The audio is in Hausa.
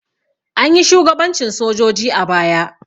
Anyi shugabancin sojoji a baya.